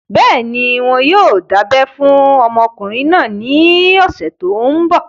Bẹ́ẹ̀ni, wọn yóò dábẹ́ fún ọmọkùnrin náà ní ọ̀sẹ̀ tó n bọ̀